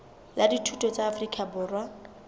la dithuto la afrika borwa